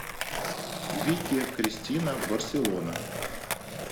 вики кристина барселона